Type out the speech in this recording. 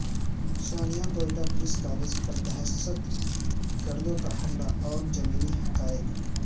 سانحہ Quetta police college پردہشت گردوں کاحملہ اور زمینی حقائق